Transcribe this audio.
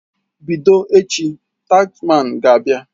Bido echi, taxman ga-abịa.